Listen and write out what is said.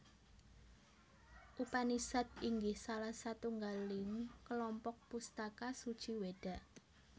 Upanisad inggih salah satunggaling kelompok pustaka suci weda